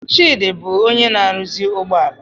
Chidi bụ onye na-arụzi ụgbọ ala